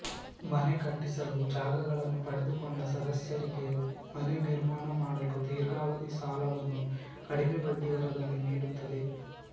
ಮನೆ ಕಟ್ಟಿಸಲು ಜಾಗಗಳನ್ನು ಪಡೆದುಕೊಂಡ ಸದಸ್ಯರಿಗೆ ಮನೆ ನಿರ್ಮಾಣ ಮಾಡಲು ದೀರ್ಘಾವಧಿ ಸಾಲವನ್ನು ಕಡಿಮೆ ಬಡ್ಡಿ ದರದಲ್ಲಿ ನೀಡುತ್ತದೆ